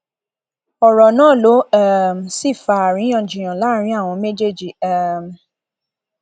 ọrọ náà ló um sì fa àríyànjiyàn láàrin àwọn méjèèjì um